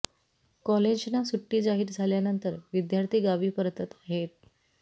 कॉलेजना सुट्टी जाहीर झाल्यानंतर विद्यार्थी गावी परतत आहेत